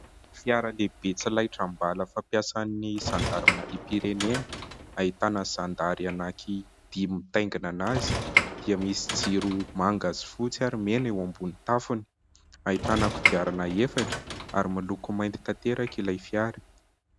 Fiara lehibe tsy laitram-bala fa mpiasan'ny zandarimariam-pirenena. Ahitana zandary anankidimy mitaingina azy, dia misy jiro manga sy fotsy ary mena eo ambonin'ny tafony. Ahitana kodiarana efatra ary miloko mainty tanteraka ilay fiara.